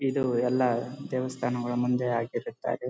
ಇದು ಎಲ್ಲ ದೇವಸ್ಥಾನದ ಮುಂದೆ ಆಗಿರುತ್ತಾರೆ.